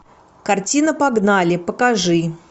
картина погнали покажи